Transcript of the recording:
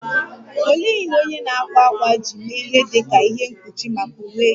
Olee ihe onye na - akwa akwa ji mee ihe dị ka ihe mkpuchi maka uwe gị?